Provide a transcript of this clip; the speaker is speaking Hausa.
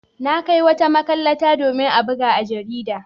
Na kai wata makalata domin a buga a jarida.